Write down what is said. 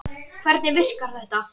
Hvernig virkar þetta?